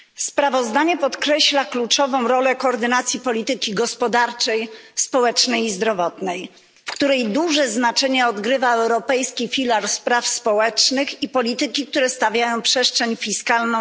Sprawozdanie podkreśla kluczową rolę koordynacji polityki gospodarczej, społecznej i zdrowotnej, w której duże znaczenie odgrywa Europejski filar spraw socjalnych i polityki zajmujące się przestrzenią fiskalną.